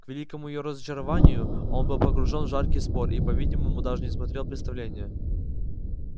к великому её разочарованию он был погружён в жаркий спор и по-видимому даже не смотрел представления